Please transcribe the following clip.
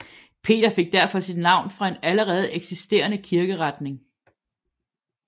Peter fik derfor sit navn fra en allerede eksisterende kirkeretning